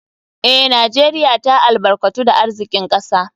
Eh, Najeriya ta albarkatu da arzikin kasa.